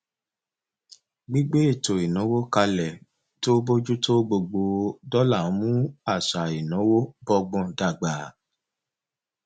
gbígbé ètò ìnáwó kalẹ tó bójú tó gbogbo dọlà ń mú àṣà ìnáwó bọgbọn dàgbà